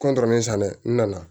san dɛ n nana